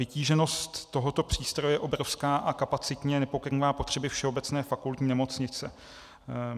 Vytíženost tohoto přístroje je obrovská a kapacitně nepokrývá potřeby Všeobecné fakultní nemocnice.